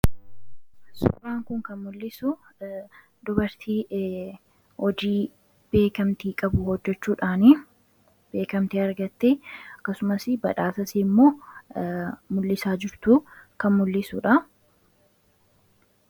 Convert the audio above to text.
Suuraan kun kan mul'isu dubartii hojii beekamtii qabu hojjechuudhaan. Beekamtii argatte akasumas badhaasa ishii immoo mul'isaa jirtuu kan mul'isuudha.